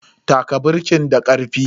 Taka birkin da karfi.